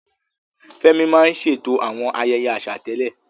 Fẹ́mi máa ń ṣètò àwọn ayẹyẹ àṣà tẹ́lẹ̀.